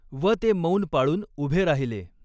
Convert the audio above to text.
व ते मौन पाळून उभे राहिले.